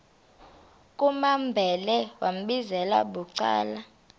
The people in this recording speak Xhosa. kumambhele wambizela bucala